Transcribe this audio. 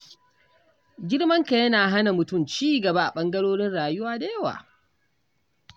Girman kai yana hana mutum ci gaba a ɓangarorin rayuwa da yawa.